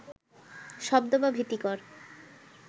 শব্দ বা ভীতিকর